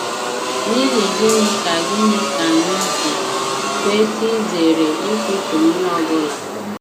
N’ihi gịnị ka gịnị ka anyị ji kwesị izere ikwutọ onye ọ bụla?